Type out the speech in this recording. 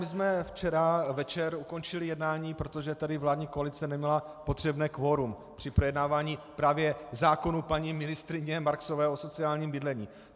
My jsme včera večer ukončili jednání, protože tady vládní koalice neměla potřebné kvorum při projednávání právě zákonů paní ministryně Marksové o sociálním bydlení.